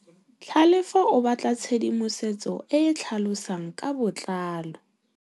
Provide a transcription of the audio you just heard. Tlhalefô o batla tshedimosetsô e e tlhalosang ka botlalô.